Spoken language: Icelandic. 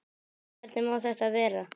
Hvernig má þetta vera?